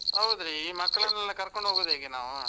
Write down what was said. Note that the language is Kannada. ಹೌದ್ರೀ, ಈ ಮಕ್ಳನ್ನೆಲ್ಲಾ ಕರ್ಕೊಂಡ್ ಹೋಗುದು ಹೇಗೆ ನಾವೂ?